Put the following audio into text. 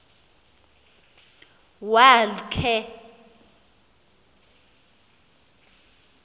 wa l khe